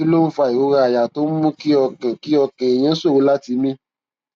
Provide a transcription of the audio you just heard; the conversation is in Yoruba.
kí ló ń fa ìrora àyà tó ń mú kí ọkàn kí ọkàn èèyàn ṣòro láti mí